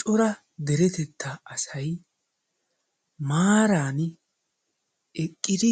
Cora deretettaa asayi maaran eqqidi